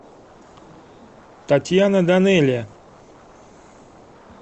татьяна данелия